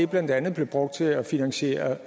blandt andet brugt til at finansiere